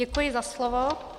Děkuji za slovo.